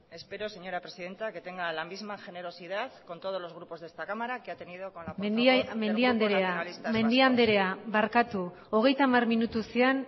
espero señora presidenta que tenga la misma generosidad con todos los grupos de esta cámara que ha tenido con la portavoz del grupo nacionalistas vascos mendia andrea parkatu hogeita hamar minutu ziren